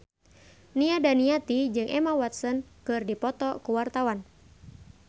Nia Daniati jeung Emma Watson keur dipoto ku wartawan